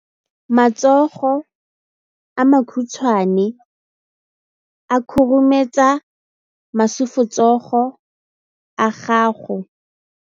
Matsogo a makhutshwane a khurumetsa masufutsogo a gago.